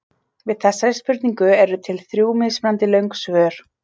Við þessari spurningu eru til þrjú mismunandi löng svör.